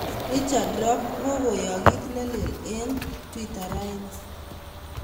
richard rop kog'okoyaak kiit nelel eng' twita raini